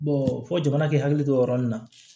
fɔ jamana k'i hakili to o yɔrɔ nin na